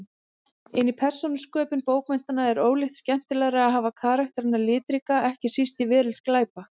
En í persónusköpun bókmenntanna er ólíkt skemmtilegra að hafa karakterana litríka, ekki síst í veröld glæpa.